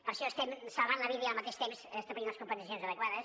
per això estem salvant la vida i al mateix temps establint les compensacions adequades